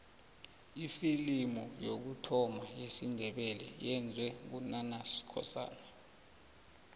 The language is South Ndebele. ifilimu yokuthoma yesindebele iyenzwe ngu nanus skosana